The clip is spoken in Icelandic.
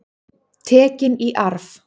Tekin í arf.